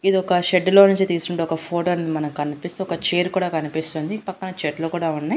ఇది ఒక షెడ్డు లో నుంచి తీసుండ ఒక ఫోటో అని మనకీ కనిపిస్తూ ఒక చైర్ కూడా కనిపిస్తుంది పక్కన చెట్లు కూడా ఉన్నాయి.